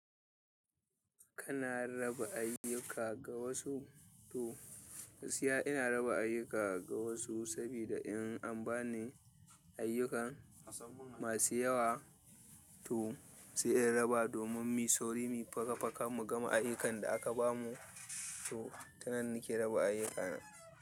Kana raba ayyuka ga wasu to gaskiya ina raba ayyuka ga wasu sabida in an ba ni ayyukan masu yawa to sai in raba domin muyi sauri mu yi faka-faka mu gama ayyukan da aka bamu to ta nan nake raba ayyukana.